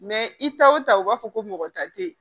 i ta o ta u b'a fɔ ko mɔgɔ ta tɛ yen